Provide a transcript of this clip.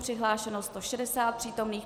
Přihlášeno 160 přítomných.